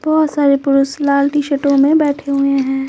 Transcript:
बहुत सारे पुरुष लाल टी-शर्टों में बैठे हुए है।